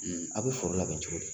A' bɛ foro labɛn cogo di